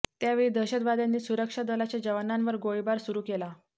त्यावेळी दहशतवाद्यांनी सुरक्षा दलाच्या जवानांवर गोळीबार सुरु केला